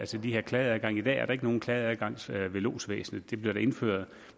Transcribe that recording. til de her klageadgange i dag er der ikke nogen klageadgang ved lodsvæsenet det bliver der indført